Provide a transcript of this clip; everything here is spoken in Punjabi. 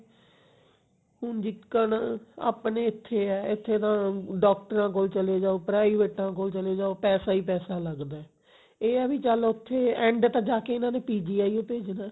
ਹੁਣ ਦਿੱਕਤ ਆਪਣੇ ਇੱਥੇ ਹੈ ਇੱਥੇ ਤੇ ਡਾਕਟਰਾਂ ਕੋਲ ਚਲੇ ਜਾਓ ਪਰਾਈਵੇਟਾਂ ਕੋਲ ਚਲੇ ਜਾਓ ਪੈਸਾ ਹੀ ਪੈਸਾ ਲਗਦਾ ਇਹ ਹੈ ਵੀ ਚਲ ਉੱਥੇ end ਤਾਂ ਜਾਕੇ ਇਹਨਾਂ ਨੇ PGI ਓ ਭੇਜਣਾ